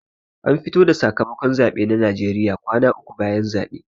Ana fito da sakamakon zaɓe a najeriya kwana uku bayan zaɓe